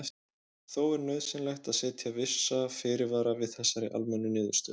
Þó er nauðsynlegt að setja vissa fyrirvara við þessari almennu niðurstöðu.